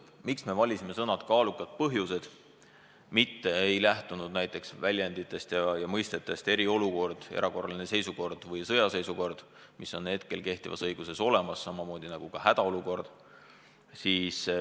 Miks me valisime sõnapaari "kaalukad põhjused", mitte ei lähtunud näiteks mõistetest "eriolukord", "erakorraline seisukord" või "sõjaseisukord", mis on kehtivas õiguses olemas, samamoodi nagu ka hädaolukord?